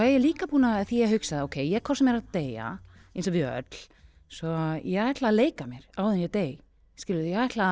ég líka búin að því ég hugsaði ókei ég er hvort sem er að deyja eins og við öll svo ég ætla að leika mér áður en ég dey skilurðu ég ætla